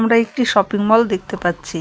আমরা একটি শপিংমল দেখতে পাচ্ছি।